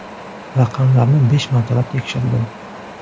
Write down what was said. Raqamlarni besh martalab tekshirdim.